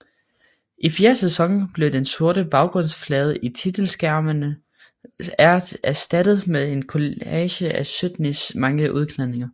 I fjerde sæson blev den sorte baggrundsflade i titelskærmen erstattet med en kollage af Sydneys mange udklædninger